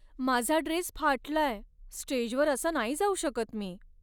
माझा ड्रेस फाटलाय. स्टेजवर असा नाही जाऊ शकत मी.